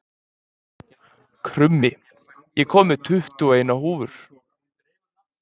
Krummi, ég kom með tuttugu og eina húfur!